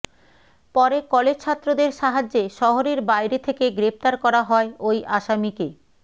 পরে কলেজ ছাত্রদের সাহায্যে শহরের বাইরে থেকে গ্রেফতার করা হয় ওই আসামীকে